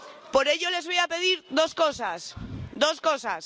Por ello, les voy a pedir dos cosas.